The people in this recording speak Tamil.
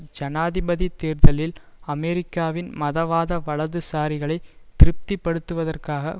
ஜனாதிபதி தேர்தலில் அமெரிக்காவின் மதவாத வலதுசாரிகளை திருப்தி படுத்துவதற்காக